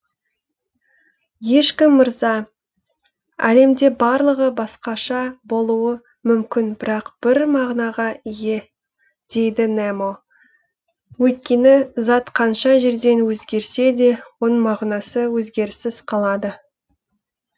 ешкім мырза әлемде барлығы басқаша болуы мүмкін бірақ бір мағынаға ие дейді немо өйткені зат қанша жерден өзгерсе де оның мағынасы өзгеріссіз қалады